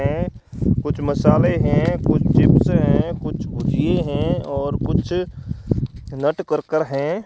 कुछ मसाले हैं कुछ चिप्स हैं कुछ भुजिये हैं और कुछ नटकरकर हैं।